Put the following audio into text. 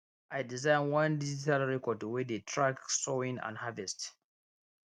i design one digital record wey dey track sowing and harvest